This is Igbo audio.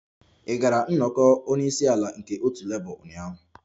Ị gara nnọkọ onye isi ala nke otu Labour ụnyaahụ?